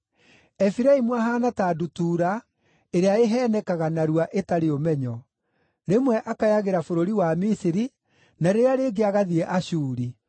“Efiraimu ahaana ta ndutura, ĩrĩa ĩheenekaga narua, ĩtarĩ ũmenyo; rĩmwe akayagĩra bũrũri wa Misiri na rĩrĩa rĩngĩ agathiĩ Ashuri.